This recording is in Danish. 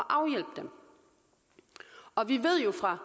afhjælpe dem og vi ved jo fra